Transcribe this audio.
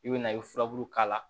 I bɛ na i furaburu k'a la